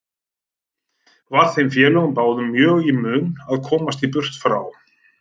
Var þeim félögum báðum mjög í mun að komast burt frá